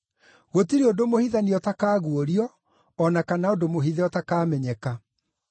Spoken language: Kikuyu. Gũtirĩ ũndũ mũhithanie ũtakaguũrio, o na kana ũndũ mũhithe ũtakamenyeka.